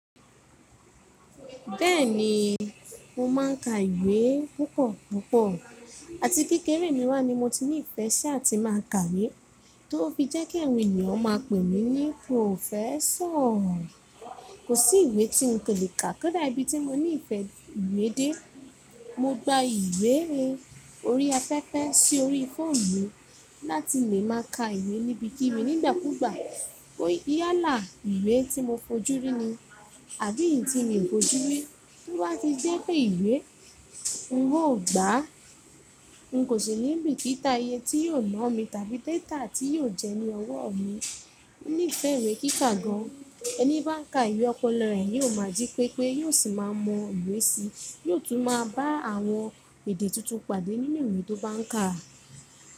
Bẹ́ẹ̀ni, mo máa ń ka ìwé púpọ̀púpọ̀ àti kekẹ́ré mi wá ni mo ti ní ìfẹ́ ṣi à ti máa ka ìwé, tó fi jé kí àwọn ènìyàn máa pè mí ní professor. Kò sí ìwé tí n kò lè kà, kò dá ibí ti mo ní ìfẹ́ ìwé dé. Mo gba ìwé orí afẹ́fẹ́ sí orí fóòmú láti lè máa ka ìwé níbi kí bi nígbàkuúgbà. Bó yálá ìwé tí mo fojúrí ni, àbí ntí mi ò fojú rí, to bá ti jẹ́ pé ìwé, n ò gbà á. N kò sí ní bìkítà ìyẹ tí yóò ná mi tàbí datà tí yóò jẹni ọwọ́ mi. Mo ní ìfẹ́ ìwé kíkà gan. Ẹni bá n ka ìwé, ọpọlọ rẹ̀ yóò máa jí pépé, yóò sì máa mọ ìwé síi, yóò tún máa bá àwọn èdè tuntun pàdé nínú ìwé tó bá ń kà.